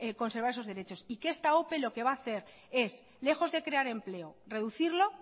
conservar esos derechos y que esta ope lo que va a hacer es lejos de crear empleo reducirlo